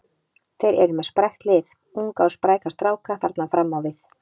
Þeir eru með sprækt lið, unga og spræka stráka þarna fram á við.